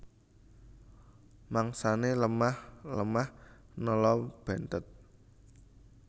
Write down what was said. Mangsané lemah lemah nela benthèt